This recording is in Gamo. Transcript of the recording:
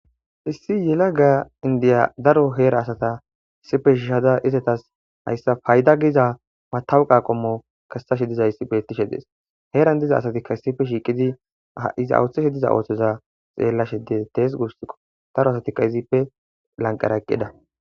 issi yela ga indiya daro heera asata issife shiishada izetas hayssa payda giza matawuqa qommo kassashe dizayissi bettishe dees heeran diza asatikka issife shiiqidi iza ooththishe diza ooththoza xeella shede tees gursikko daro asatikka izippe lanqara eqqida